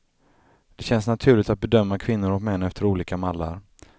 Det känns naturligt att bedöma kvinnor och män efter olika mallar.